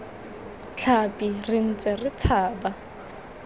tlhapi re ntse re tshaba